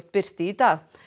birti í dag